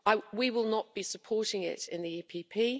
We will not be supporting it in the PPE.